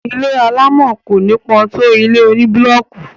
ilé alámọ̀ kò nípọ tó ilé oní búlọọkù